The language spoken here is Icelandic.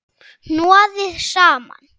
Hnoðið saman.